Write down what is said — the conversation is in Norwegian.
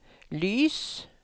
lys